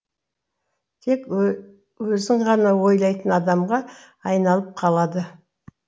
тек өзін ғана ойлайтын адамға айналып қалады